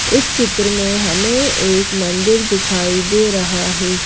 इस चित्र में हमें एक मंदिर दिखाई दे रहा है।